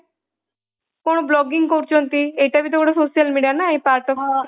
କ'ଣ vlogging କରୁଛନ୍ତି ଏଇଟା ବି ଗୋଟେ social media ନା ଏଇ part